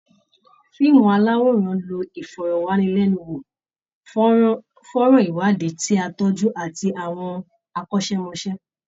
Fíìmù aláwòrán ń lo ìfọ̀rọ̀wánilẹ́nu wò, fọ́nrán iwadi ti á tọ́jú, àti àwọn akọ́ṣẹ́mọṣẹ́